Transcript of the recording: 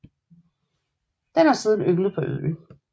Den har siden ynglet årligt på øen